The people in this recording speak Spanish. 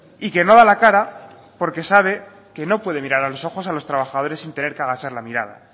y que no da la cara porque sabe que no puede mirar a los ojos a los trabajadores sin tener que agachar la mirada